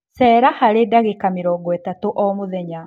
cera harĩ ndagĩka mĩrongo ĩtatu o mũthenya